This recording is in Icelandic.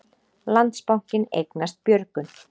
Landsbankinn eignast Björgun